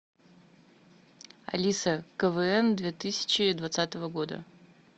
алиса квн две тысячи двадцатого года